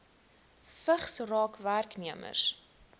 vigs raak werknemers